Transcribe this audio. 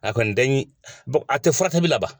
A kɔni tɛ ɲi, a tɛ furakɛli bɛɛ laban.